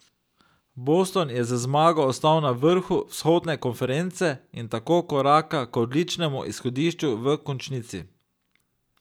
Boston je z zmago ostal na vrhu vzhodne konference in tako koraka k odličnemu izhodišču v končnici.